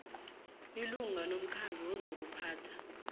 ilunga lomkhandlu wezokuphatha